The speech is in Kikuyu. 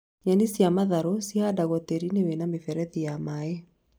Nyeni cia matharũ cihandagwo tĩĩri-inĩ wĩna mĩberethi ya maĩ